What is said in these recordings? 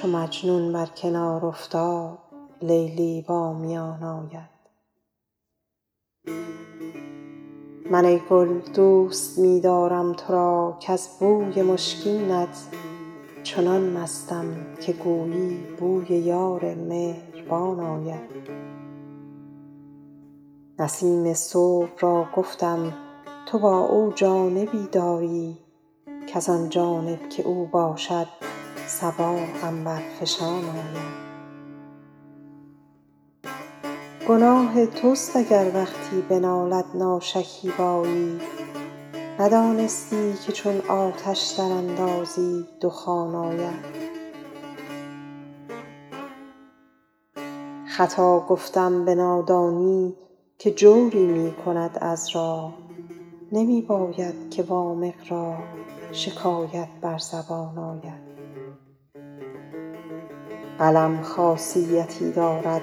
چو مجنون بر کنار افتاد لیلی با میان آید من ای گل دوست می دارم تو را کز بوی مشکینت چنان مستم که گویی بوی یار مهربان آید نسیم صبح را گفتم تو با او جانبی داری کز آن جانب که او باشد صبا عنبرفشان آید گناه توست اگر وقتی بنالد ناشکیبایی ندانستی که چون آتش دراندازی دخان آید خطا گفتم به نادانی که جوری می کند عذرا نمی باید که وامق را شکایت بر زبان آید قلم خاصیتی دارد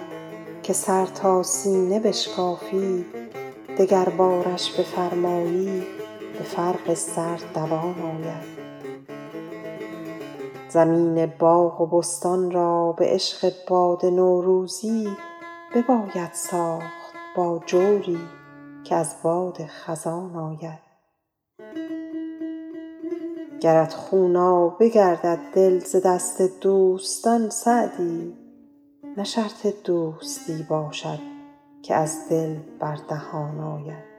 که سر تا سینه بشکافی دگربارش بفرمایی به فرق سر دوان آید زمین باغ و بستان را به عشق باد نوروزی بباید ساخت با جوری که از باد خزان آید گرت خونابه گردد دل ز دست دوستان سعدی نه شرط دوستی باشد که از دل بر دهان آید